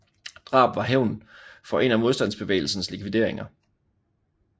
Drabet var hævn for en af modstandbevægelsens likvideringer